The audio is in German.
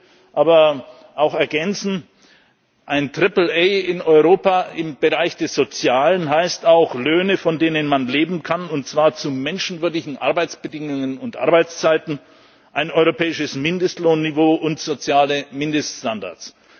Ich will aber auch ergänzen, ein Triple A in Europa im Bereich des Sozialen heißt auch Löhne, von denen man leben kann, und zwar zu menschenwürdigen Arbeitsbedingungen und Arbeitszeiten, ein europäisches Mindestlohnniveau und soziale Mindeststandards.